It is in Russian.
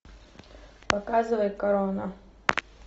показывай корона